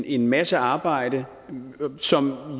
en masse arbejde som